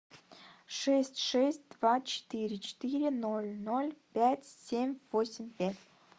шесть шесть два четыре четыре ноль ноль пять семь восемь пять